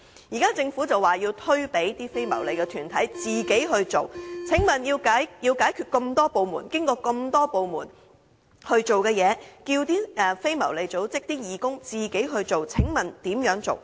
現在，政府表示要交由非牟利團體自己進行，過程中要眾多部門解決的問題，都要非牟利組織的義工自己解決。